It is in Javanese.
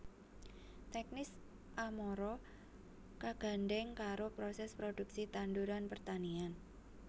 Teknis amara kagandhèng karo prosès prodhuksi tanduran pertanian